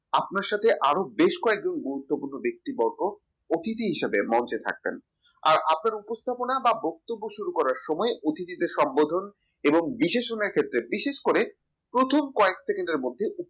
আপনার সাথে আরও বেশ কয়েকজন গুরুত্বপূর্ণ ব্যক্তিবর্গ অতিথি হিসেবে মঞ্চে থাকবেন আপনার উপস্থাপনা বা বক্তব্য শুরু করার সময অতিথি দের সম্বোধন এবং decision এর ক্ষেত্রে বিশেষ করে প্রথম কয়েক second এর মধ্যে